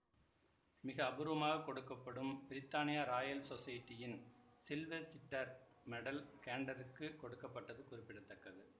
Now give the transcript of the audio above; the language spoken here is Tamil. மிக அபூர்வமாகக் கொடுக்க படும் பிரித்தானிய ராயல் சொசைட்டியின் சில்வெசிட்டர் மெடல் கேன்ட்டருக்குக் கொடுக்க பட்டது குறிப்பிட தக்கது